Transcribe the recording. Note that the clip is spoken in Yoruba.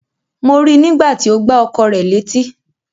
Mo rí nígbà tí ó gbá ọkọ rẹ̀ létí.